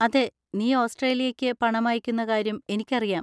അതെ, നീ ഓസ്‌ട്രേലിയയ്ക്ക് പണം അയയ്ക്കുന്ന കാര്യം എനിക്കറിയാം.